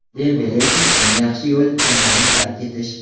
Dembele uchun eng yaxshi yo‘l jamoani tark etish.